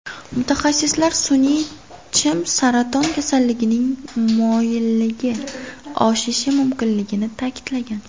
Mutaxassislar sun’iy chim saraton kasalligining moyilligi oshishi mumkinligini ta’kidlagan.